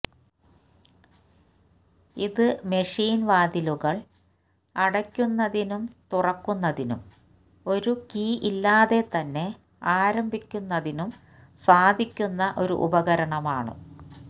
ഇത് മെഷീൻ വാതിലുകൾ അടയ്ക്കുന്നതിനും തുറക്കുന്നതിനും ഒരു കീ ഇല്ലാതെ തന്നെ ആരംഭിക്കുന്നതിനും സാധിക്കുന്ന ഒരു ഉപകരണമാണ്